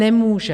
Nemůže.